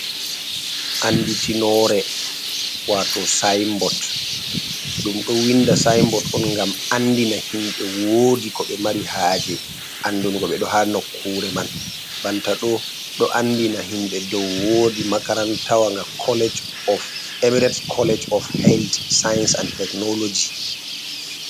Anɗitinore wato sa'in bot ɗum ɗo winɗa sa'in bot on ngam anɗina himbe woɗi ko be mari haje anɗunugo be. Ɗo ha nokkure man. Banta ɗo ɗo anɗina himbe ɗow woɗi makarantawanga emiret kolleg of helt saa'is aɗ teknologi.